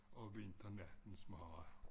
Og vinternattens mare